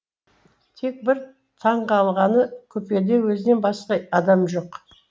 тек бір таңғалғаны купеде өзінен басқа адам жоқ